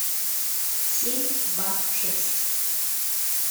семь два шесть